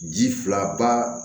Ji fila ba